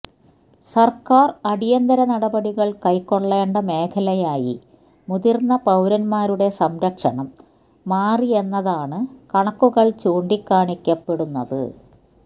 സര്ക്കാര് അടിയന്തര നടപടികള് കൈക്കൊള്ളേണ്ട മേഖലയായി മുതിര്ന്ന പൌരന്മാരുടെ സംരക്ഷണം മാറിയെന്നതാണ് കണക്കുകള് ചൂണ്ടിക്കാണിക്കപ്പെടുന്നത്